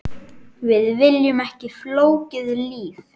Við viljum ekki flókið líf.